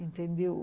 Entendeu?